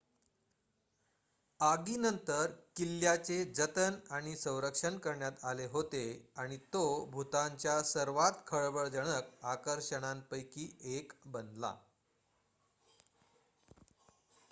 आगीनंतर किल्ल्याचे जतन आणि संरक्षण करण्यात आले होते आणि तो भूतानच्या सर्वात खळबळजनक आकर्षणांपैकी एक बनला